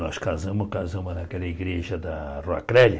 Nós casamos casamos naquela igreja da Rua Crélia.